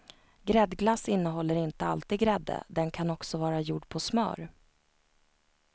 Gräddglass innehåller inte alltid grädde, den kan också vara gjord på smör.